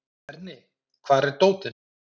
Berni, hvar er dótið mitt?